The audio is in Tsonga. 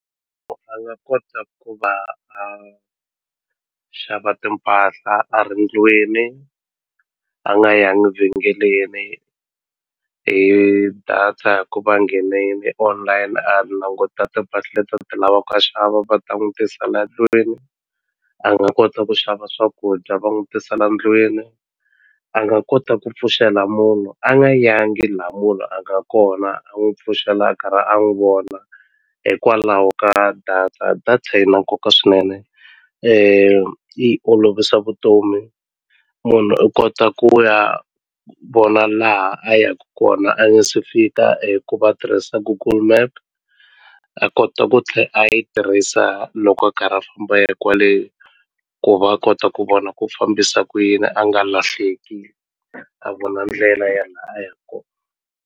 A nga kota ku va a xava timpahla a ri ndlwini a nga yangi vhengeleni hi data hi ku va nghenile online a languta timpahla leti a ti lavaka a xava va ta n'wi tisela ndlwini a nga kota ku xava swakudya va n'wi tisela ndlwini a nga kota ku pfuxela munhu a nga yangi la munhu a nga kona a n'wi pfuxela a karhi a n'wi vona hikwalaho ka data data yi na nkoka swinene yi olovisa vutomi munhu u kota ku ya vona laha a yaku kona a nga se fika hi ku va tirhisa Google Map a kota ku tlhe a yi tirhisa loko a karhi a famba a ya kwale ku va kota ku vona ku fambisa ku yini a nga lahleki a vona ndlela ya la a yaka kona.